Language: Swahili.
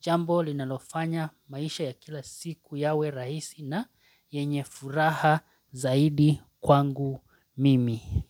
jambo linalofanya maisha ya kila siku yawe rahisi na yenye furaha zaidi kwangu mimi.